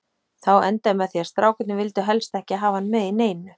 Þá endaði með því að strákarnir vildu helst ekki hafa hann með í neinu.